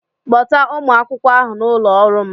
Kpọta ụmụ akwụkwọ ahụ n'ụlọ ọrụ m